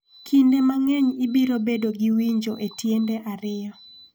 Kinde mang�eny ibiro bedo gi winjo e tiende ariyo.